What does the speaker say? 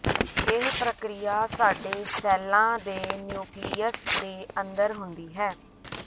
ਇਹ ਪ੍ਰਕ੍ਰਿਆ ਸਾਡੇ ਸੈੱਲਾਂ ਦੇ ਨਿਊਕਲੀਅਸ ਦੇ ਅੰਦਰ ਹੁੰਦੀ ਹੈ